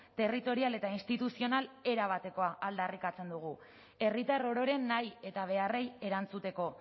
territorial eta instituzional erabatekoa aldarrikatzen dugu herritar ororen nahi eta beharrei erantzuteko